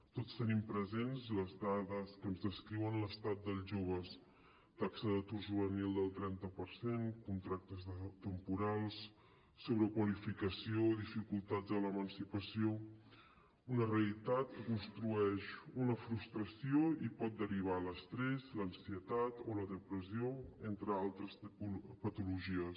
tots tenim presents les dades que ens descriuen l’estat dels joves taxa d’atur juvenil del trenta per cent contractes temporals sobrequalificació i dificultats a l’emancipació una realitat que construeix una frustració i pot derivar a l’estrès l’ansietat o la depressió entre altres patologies